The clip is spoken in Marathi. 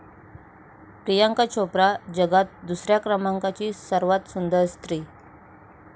प्रियांका चोप्रा जगात दुसऱ्या क्रमांकाची सर्वात सुंदर स्त्री